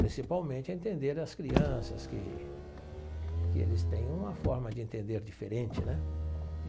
Principalmente a entender as crianças, que que eles têm uma forma de entender diferente né?